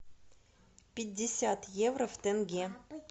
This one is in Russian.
пятьдесят евро в тенге